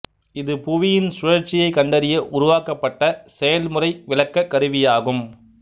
இது புவியின் சுழற்சியைக் கண்டறிய உருவாக்கப்பட்ட செயல்முறை விளக்கக் கருவியாகும்